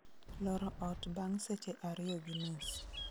loro ot bang' seche ariyo gi nus